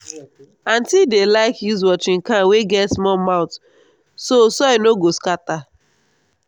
aunty dey like use watering can wey get small mouth so soil no go scatter.